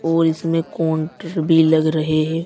और इसमें काउंटर भी लग रहे हैं।